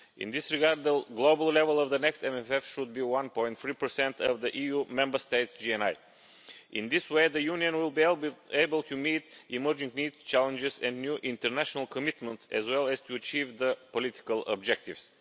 In this regard, the global level of the next MFF should be 1.3 of the EU Member States' GNI. In this way, the Union will be able to meet emerging needs, challenges and new international commitments as well as to achieve the political objectives.